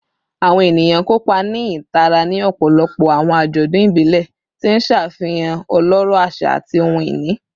Awọn eniyan kopa ni itara ni ọpọlọpọ awọn ajọdun ibile, ti n ṣafihan ọlọrọ aṣa ati ohun-ini